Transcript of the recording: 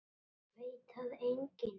Veit það enginn?